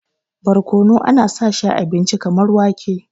barkono ana sa shi a abinci kamar wake